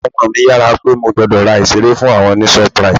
Àwọn ọmọ mi yára pé mo gbọ́dọ̀ ra ìseré fún àwọn ní ShopRite